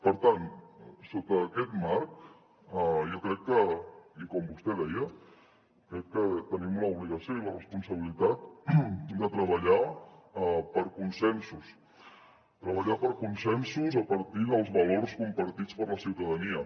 per tant sota aquest marc jo crec que i com vostè deia tenim l’obligació i la responsabilitat de treballar per consensos treballar per consensos a partir dels valors compartits per la ciutadania